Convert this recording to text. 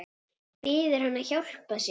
Biður hann að hjálpa sér.